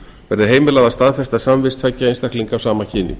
verði heimilað að staðfesta samvist tveggja einstaklinga af sama kyni